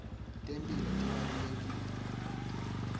temphilo tibalulekile